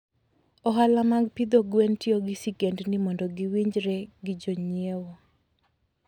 Ohala mag pidho gwen tiyo gi sigendni mondo giwinjre gi jonyiewo.